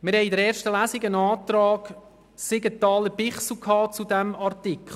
In der ersten Lesung hatten wir einen Antrag der Grossräte Siegenthaler und Bichsel zu diesem Artikel.